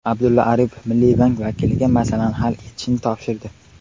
Abdulla Aripov Milliy bank vakiliga masalani hal etishni topshirdi.